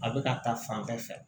A bɛ ka taa fan bɛɛ fɛ